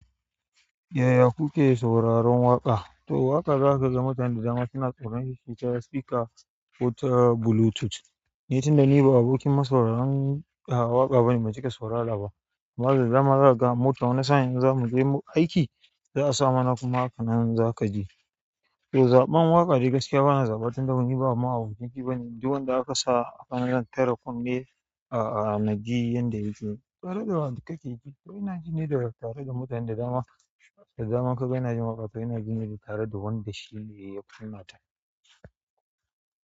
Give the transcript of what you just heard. Yaya ku ke sauraron waƙa. To waƙa za ka ga mutane da dama suna sauraron shi ta speaker ko ta bluetooth. Ni tunda ni ba abokin masauraran waƙa bane ban cika saurara ba. Maza zaman za ka ga mota wani sa'in in zamu je aiki za a samuna kuma haka nan za ka ji. To zaɓan waƙa dai gaskiya bana zaɓa tun da bani ba ma abocinki bane. Duk wanda aka sa zan tare kunne a a naji yanda yake. Tare da wanda kake ji. To ina jine da tare da mutanen da dama da dama ka ga ina jin waƙa to ina jine da tare da wanda shine ya kunnata.